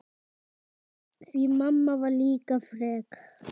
Því mamma var líka frek.